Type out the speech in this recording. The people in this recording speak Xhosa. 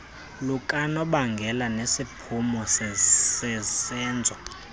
lukanobangela nesiphumo sesenzo